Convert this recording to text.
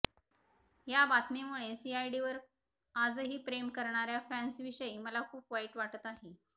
या बातमीमुळे सीआयडीवर आजही प्रेम करणाऱ्या फॅन्सविषयी मला खूप वाईट वाटत आहे